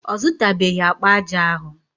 Ọ zụtabeghị akpa aja ahụ.